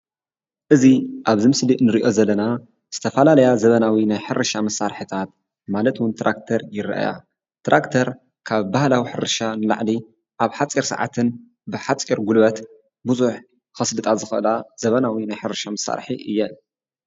እዚ ኣብዚ ምስሊ ንሪኦ ዘለና ዝተፈላለያ ዘበናዊ ናይ ሕርሻ መሳርሕታት ማለት ውን ትራክተር ይረአያ፡፡ ትራክተር ካብ ባህላዊ ሕርሻ ንላዕሊ ኣብ ሓፂር ሰዓትን ብሓፂር ጉልበት ቡዙሕ ከስልጣ ዝኽእላ ዘበናዊ ናይ ሕርሻ መሳርሒ እየን፡፡